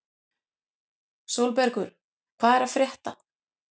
Sólbergur, hvað er að frétta?